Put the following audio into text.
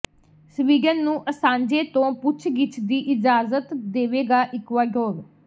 Sweden ਨੂੰ Assange ਤੋਂ ਪੁੱਛਗਿੱਛ ਦੀ ਇਜਾਜ਼ਤ ਦੇਵੇਗਾ ਇਕੁਆਡੋਰ